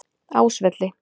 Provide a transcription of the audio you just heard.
Ásvelli